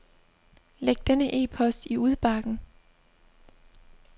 Læg denne e-post i udbakken.